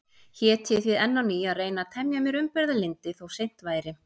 Hét ég því enn á ný að reyna að temja mér umburðarlyndi, þó seint væri.